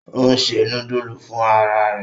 Ò ń ṣe núdúsì fún ara rẹ̀